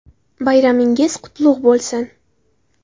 Bayramingiz qutlug‘ bo‘lsin!